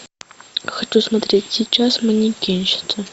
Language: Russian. хочу смотреть сейчас манекенщица